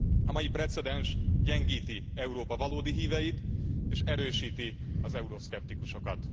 A mai precedens gyengíti Európa valódi híveit, és erősíti az euroszkeptikusokat.